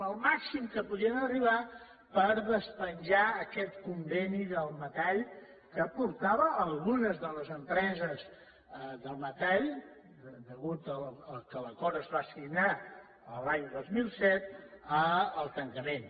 al màxim a què podien arribar per despenjar aquest conveni del metall que portava a algunes de les empreses del metall a causa que l’acord es va signar l’any dos mil set al tancament